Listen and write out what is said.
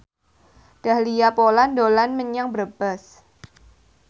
Dahlia Poland dolan menyang Brebes